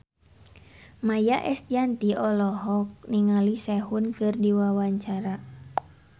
Maia Estianty olohok ningali Sehun keur diwawancara